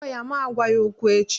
Kpọọ ya ma gwa ya okwu echi!